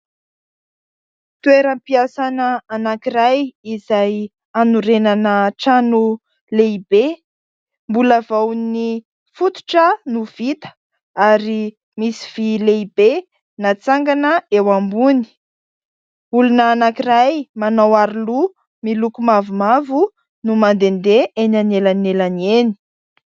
Toeram-piasana anankiray izay hanorenana trano lehibe. Mbola vao ny fototra no vita ary misy vy lehibe natsangana eo ambony. Olona anankiray manao aro loha miloko mavomavo no mandendeha eny anelanelany eny.